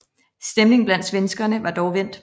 Stemningen blandt svenskerne var dog vendt